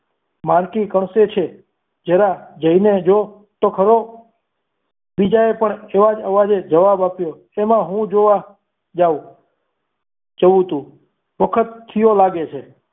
માલતી કણસે છે જરા જોઈ લેજો તો ખરો બીજાએ પણ એવા જ અવાજ જવાબ આપ્યો એમાં હું જોવા જાવ જઉં છું વખત થયો લાગે છે